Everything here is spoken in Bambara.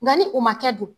Nka ni o ma kɛ dun